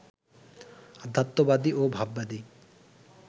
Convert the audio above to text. অধ্যাত্মবাদী ও ভাববাদী